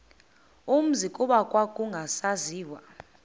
umzi kuba kwakungasaziwa